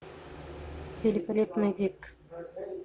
великолепный век